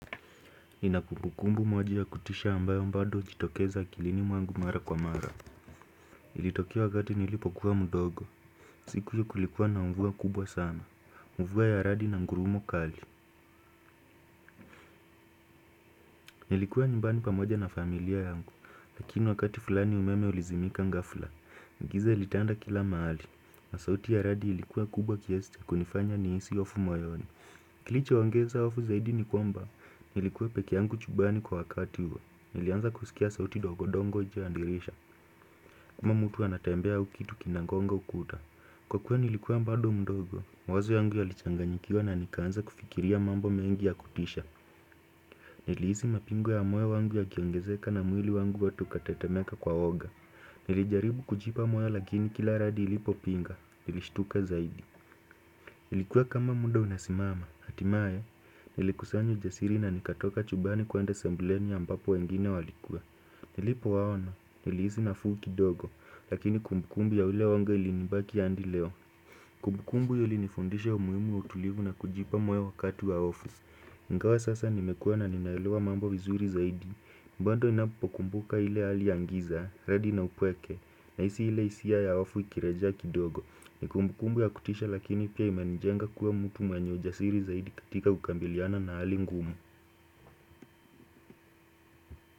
Ina kumbukumbu moja ya kutisha ambayo bado hujitokeza akilini mwangu mara kwa mara. Ilitokea wakati nilipokuwa mdogo. Siku hiyo kulikuwa na mvua kubwa sana. Mvua ya radi na ngurumo kali nilikuwa nyumbani pamoja na familia yangu. Lakini wakati fulani umeme ulizimika ghafula giza lilitanda kila mahali na sauti ya radi ilikuwa kubwa kiasi kunifanya nihisi hofu moyoni. Kilichoongeza hofu zaidi ni kwamba nilikuwa peke yangu chumbani kwa wakati huo. Nilianza kusikia sauti ndogomdogo nje ya dirisha. Kama mtu anatembea au kitu kinagonga ukuta. Kwa kuwa nilikuwa bado mdogo mawazo yangu yalichanganyikiwa na nikaanza kufikiria mambo mengi ya kutisha nilihisi mapigo yangu yanakiongezeka na mwili wangu wote ukatetemeka kwa hofu. Nilijaribu kujipa moyo lakini kila radi ilipo pinga. Nilishtuka zaidi. Nilikuwa kama muda unasimama. Hatimaye nilikusanya ujasiri na nikatoka chumbani kwaenda sebulenu ambako wengine walikuwa. Nilipowaona nilihisi nafuu kidogo, lakini kumbukumbu ya ule woga ilinibaki hadi leo. Kumbukumbu hiyo ulinifundisha umuhimu utulivu na kujipa moyo wakati wa hofu ingawa sasa nimekua na ninaelewa mambo vizuri zaidi bado ninapokumbuka ile hali ya giza, radi na upweke, nahisi ile hisia ya hofu ikirejea kidogo. Ni kumbukumbu ya kutisha lakini pia imenijenga kuwa mtu mwenye ujasiri zaidi katika kukabiliana na hali ngumu.